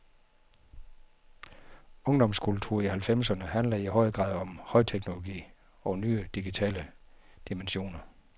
Ungdomskultur i halvfemserne handler i høj grad om højteknologi og nye digitale dimensioner.